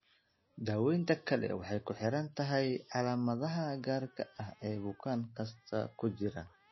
Daawaynta kale waxay ku xiran tahay calaamadaha gaarka ah ee bukaan kasta ku jira.